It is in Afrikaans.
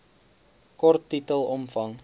kort titel omvang